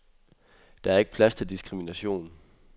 Der er ikke plads til diskrimination.